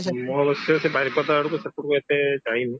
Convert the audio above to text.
ମୁଁ ଅବଶ୍ୟ ସେ ବାରିପଦା ଆଡକୁ ସେପଟକୁ ଏତେ ଯାଇନି